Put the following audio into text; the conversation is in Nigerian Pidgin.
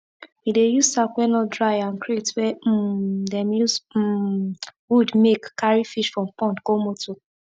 we dey use sack wey no dry and crate wey um dem use um wood make carry fish from pond go motor